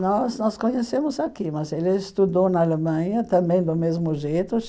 Nós nós conhecemos aqui, mas ele estudou na Alemanha também do mesmo jeito.